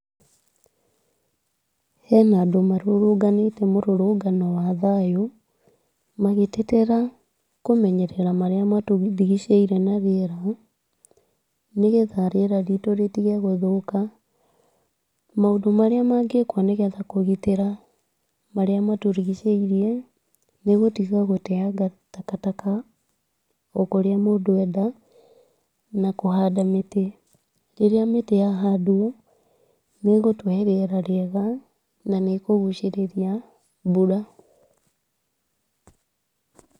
Hena andũ marũrũnganĩte mũrũrũngano wa thayũ magĩtetera kũmenyerera marĩa matũrigicĩirie na rĩera. Nĩgetha rĩera ritũ rĩtige gũthũka. Maũndũ marĩa mangĩkwo, nĩgetha kũgitĩra marĩa matũrigicĩirie nĩgũtiga gũteaga takataka okũrĩa mũndũ enda na kũhanda mĩtĩ. Rĩrĩa mĩtĩ yahandwo, nĩĩgũtũhe rĩera rĩega nanĩkũgucĩrĩria mbura.